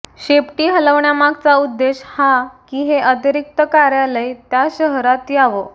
शेपटी हलवण्यामागचा उद्देश हा की हे अतिरिक्त कार्यालय त्या शहरात यावं